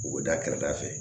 U bɛ da kɛrɛda fɛ